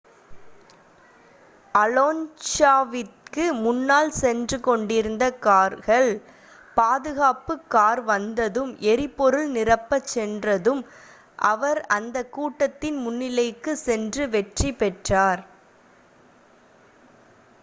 அலோன்ஸாவிற்கு முன்னால் சென்று கொண்டிருந்த கார்கள் பாதுகாப்பு கார் வந்ததும் எரிபொருள் நிரப்பச் சென்றதும் அவர் அந்த கூட்டத்தின் முன்னிலைக்குச் சென்று வெற்றி பெற்றார்